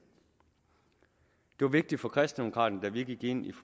var vigtigt for kristendemokraterne da vi gik ind i